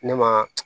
Ne ma